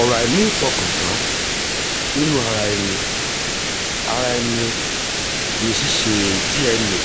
ọ̀rọ̀ àìnífọkàntàn nínú ara ẹni ara ẹni ní ṣíṣe dna